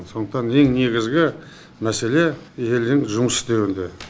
сондықтан ең негізгі мәселе елдің жұмыс істеуінде